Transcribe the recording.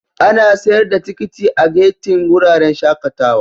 Ana sayar da tikiti a gati'n wuraren shakatawa.